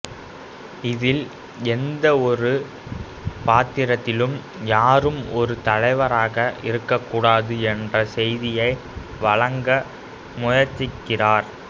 இதில் எந்தவொரு பாத்திரத்திலும் யாரும் ஒரு தலைவராக இருக்கக்கூடாது என்ற செய்தியை வழங்க முயற்சிக்கிறார்